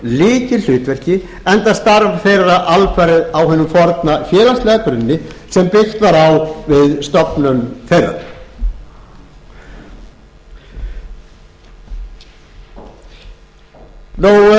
lykilhlutverki enda starf þeirra alfarið á hinum forna félagslega grunni sem byggt var á við stofnun þeirra það má segja að